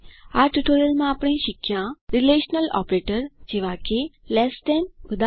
આ ટ્યુટોરીયલમાં આપણે શીખ્યા રીલેશનલ ઓપરેટર જેવા કે લેસ ધેન160 ઉદા